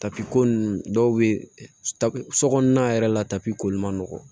Tapi ko nunnu dɔw bɛ ta sokɔnɔna yɛrɛ la tapi koli ma nɔgɔn